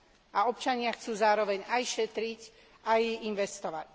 A občania chcú zároveň aj šetriť, aj investovať.